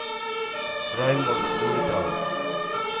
Raymond Nordahl